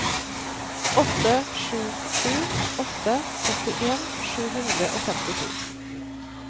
åtte sju sju åtte åttien sju hundre og femtito